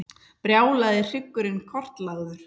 Brjálaði hryggurinn kortlagður